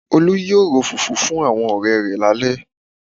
Olú yóò ro fùfú fún àwọn ọ̀rẹ rẹ̀ lálẹ́